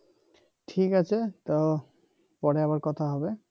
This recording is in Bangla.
ঠিক আছে তো পরে আবার কথা হবে